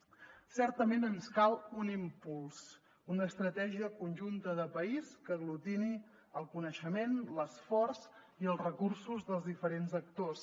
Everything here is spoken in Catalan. certament ens cal un impuls una estratègia conjunta de país que aglutini el coneixement l’esforç i els recursos dels diferents actors